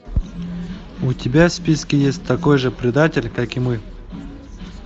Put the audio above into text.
у тебя в списке есть такой же предатель как и мы